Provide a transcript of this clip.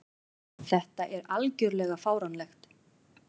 Þetta er algjörlega fáránlegt.